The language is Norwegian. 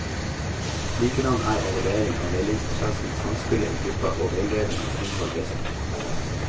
Likedan er evaluering av veiledningsprosessen, samspillet i gruppa og veiledningens innhold vesentlig.